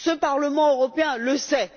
Ce Parlement européen le sait.